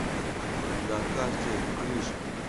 на карте крыша